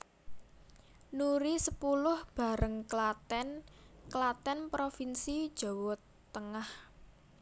Nuri sepuluh Bareng Klaten Klaten provinsi Jawa Tengah